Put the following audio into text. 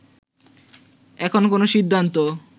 এখনো কোন সিদ্ধান্ত